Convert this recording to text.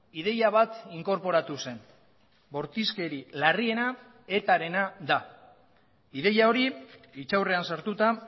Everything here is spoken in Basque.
ideia bat inkorporatu zen bortizkeri larriena etarena da ideia hori hitzaurrean sartuta